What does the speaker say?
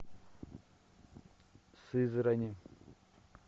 сызрани